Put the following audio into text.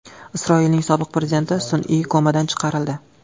Isroilning sobiq prezidenti sun’iy komadan chiqarildi.